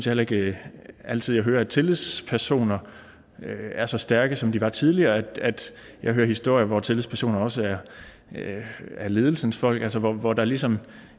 heller ikke altid jeg hører at tillidspersoner er så stærke som de var tidligere jeg hører historier hvor tillidspersoner også er ledelsens folk altså hvor der ligesom